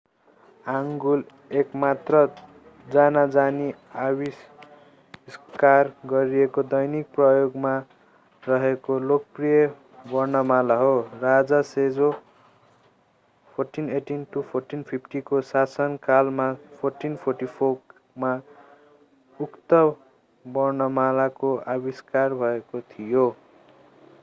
Hangul एकमात्र जानाजानी आविष्कार गरिएको दैनिक प्रयोगमा रहेको लोकप्रिय वर्णमाला हो। राजा सेजो 1418-1450 को शासनकालमा 1444 मा उक्त वर्णमालाको आविष्कार भएको थियो।